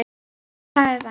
Hvaða saga er það?